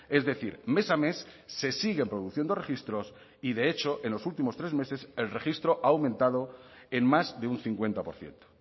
es decir mes a mes se siguen produciendo registros y de hecho en los últimos tres meses el registro ha aumentado en más de un cincuenta por ciento